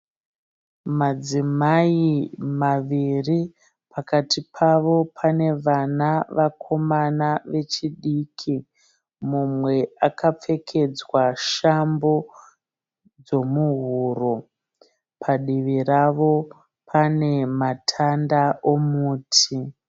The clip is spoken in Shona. Madzimai maviri pakati pavo pane vana vakomana vechidiki. Mumwe akapfekedzwa shambo dzomuhuro. Padivi ravo pane matanda omuti.